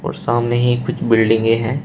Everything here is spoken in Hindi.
सामने ही कुछ बिल्डिंगे हैं।